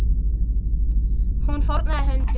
Hún fórnaði höndum.